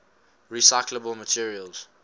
recyclable materials